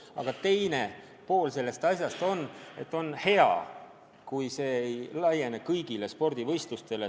Aga teisalt on hea, kui nõuded ei laiene kõigile spordivõistlustele.